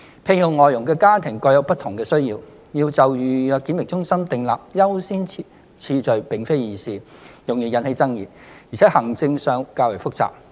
聘用外傭的家庭各有不同的需要，要就預約檢疫中心訂立優先次序並非易事，容易引起爭議，而且行政上會較為複雜。